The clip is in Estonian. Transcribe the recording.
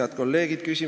Head kolleegid!